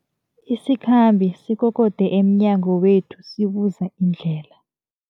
Isikhambi sikokode emnyango wethu sibuza indlela.